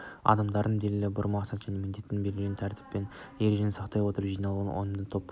адамдардың белгілі бір мақсат және міндеттен белгіленген тәртіп пен ережені сақтай отырып жиналуынан ұйымдасқан топ қоғам